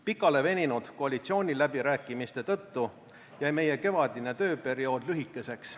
Pikaleveninud koalitsiooniläbirääkimiste tõttu jäi meie kevadine tööperiood lühikeseks.